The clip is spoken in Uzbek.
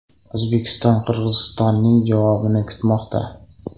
O‘zbekiston Qirg‘izistonning javobini kutmoqda.